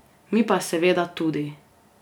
Mi pa seveda tudi!